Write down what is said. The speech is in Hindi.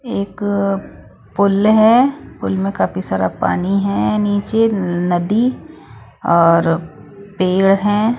एक पुल है पुल में काफी सारा पानी है नीचे नदी और पेड़ हैं।